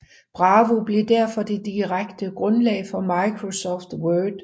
Bravo blev derfor det direkte grundlag for Microsoft Word